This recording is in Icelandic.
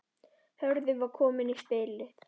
Hörður var kominn í spilið.